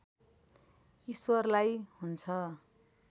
ईश्वरलाई हुन्छ